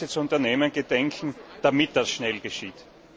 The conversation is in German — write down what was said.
was Sie zu unternehmen gedenken, damit das schnell geschieht.